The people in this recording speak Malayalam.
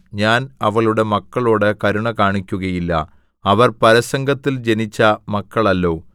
ഞാൻ അവളുടെ മക്കളോട് കരുണ കാണിക്കുകയില്ല അവർ പരസംഗത്തിൽ ജനിച്ച മക്കളല്ലോ